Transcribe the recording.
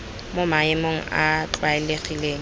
mo maemong a a tlwaelegileng